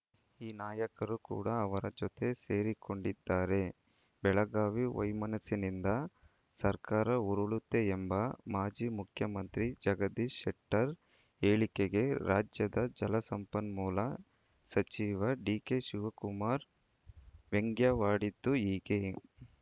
ಈ ನಾಯಕರು ಕೂಡ ಅವರ ಜೊತೆ ಸೇರಿಕೊಂಡಿದ್ದಾರೆ ಬೆಳಗಾವಿ ವೈಮನಸ್ಸಿನಿಂದ ಸರ್ಕಾರ ಉರುಳುತ್ತೆ ಎಂಬ ಮಾಜಿ ಮುಖ್ಯಮಂತ್ರಿ ಜಗದೀಶ್‌ ಶೆಟ್ಟರ್‌ ಹೇಳಿಕೆಗೆ ರಾಜ್ಯದ ಜಲಸಂಪನ್ಮೂಲ ಸಚಿವ ಡಿಕೆಶಿವಕುಮಾರ್‌ ವ್ಯಂಗ್ಯವಾಡಿದ್ದು ಹೀಗೆ